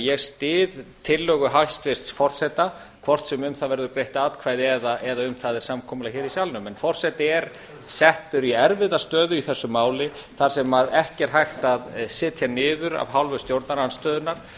ég styð tillögu hæstvirts forseta hvort sem um það verða greidd atkvæði eða um það er samkomulag hér í salnum forseti er settur í erfiða stöðu í þessu máli þar sem ekki er hægt að setja niður af hálfu stjórnarandstöðunnar